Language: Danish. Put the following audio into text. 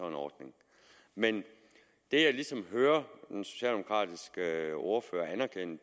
en ordning men det jeg ligesom hører den socialdemokratiske ordfører anerkende